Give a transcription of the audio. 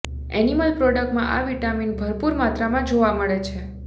animal પ્રોડક્ટમાં આ vitamin ભરપૂર માત્રામાં જોવા મળે છે